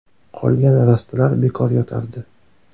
Qolgan rastalar bekor yotardi.